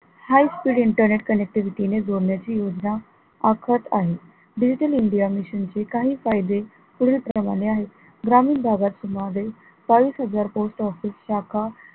high speed internet connectivity ने जोडण्याची योजना आखत आहे digital india mission चे काही फायदे पुढील प्रमाणे आहे ग्रामीण भागात सुमारे बावीस हजार post office शाखा